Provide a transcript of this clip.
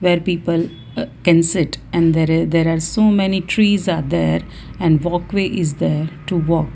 their people uh can sit and there i there are so many trees are there and walkway is there to walk.